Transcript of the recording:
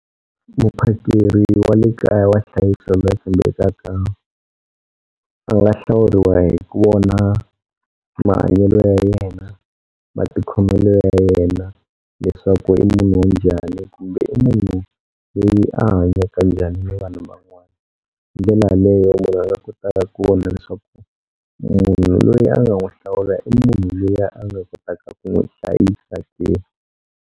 Muphakeri wa le kaya wa hlayisa tshembelaka a nga hlawuriwa hi ku vona mahanyelo ya yena, matikhomelo ya yena leswaku i munhu wa njhani kumbe i munhu loyi a hanyaka njhani ni vanhu van'wana. Hi ndlela yaleyo munhu a nga kota ku vona leswaku munhu loyi a nga n'wi hlawula i munhu loyi a nga kotaka ku n'wi hlayisa ke.